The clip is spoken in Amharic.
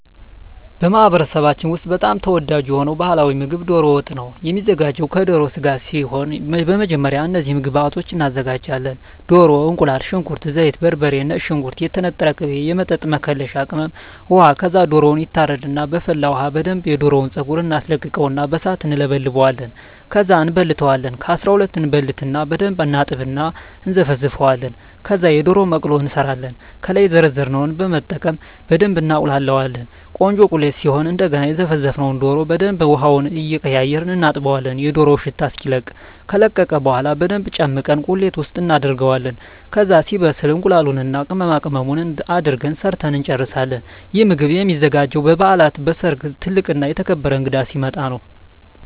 በማኅበረሰባችን ውስጥ በጣም ተወዳጅ የሆነው ባሕላዊ ምግብ ደሮ ወጥ ነው የሚዘጋው ከደሮ ስጋ ሲሆን በመጀመሪያ እነዚህን ግብአቶች እናዘጋጃለን። ደሮ፣ እቁላል፣ ሽንኩርት፣ ዘይት፣ በርበሬ፣ ነጭ ሽንኩርት፣ የተነጠረ ቅቤ፣ የወጥ መከለሻ ቅመም፣ ውሃ ከዛ ደሮው ይታረድና በፈላ ውሀ በደንብ የደሮውን ፀጉር እናስለቅቀውና በሣት እንለበልበዋለን። ከዛ እንበልተዋለን ከ12 እበልትና በደንብ እናጥብና እና እነዘፈዝፈዋለን። ከዛ የደሮ መቅሎ እንሠራለን። ከላይ የዘረዘርነውን በመጠቀም በደብ እናቁላላዋለን ቆንጆ ቁሌት ሲሆን እደገና የዘፈዘፍነውን ደሮ በደንብ ውሀውን እየቀያየርን እናጥበዋለን የደሮው ሽታ እስኪለቅ። ከለቀቀ በኋላ በደንብ ጨምቀን ቁሌት ውስጥ እናደርገዋለን። ከዛ ሲበስል እቁላሉን እና ቅመማቅመሙን አድርገን ሠርተን እንጨርሣለን። ይህ ምግብ የሚዘጋጀው በበዓላት፣ በሠርግ፣ ትልቅ እና የተከበረ እንግዳ ሲመጣ።